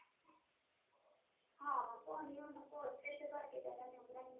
ਹਾਂ, ਹੋਣੀ ਓਹਨਾ ਕੋਲ, ਇਸੇ ਕਰਕੇ ਤਾਂ ਇਹਨਾਂ ਨੇ ਉਹ ਬਣਾਈ